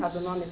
Sabe o nome?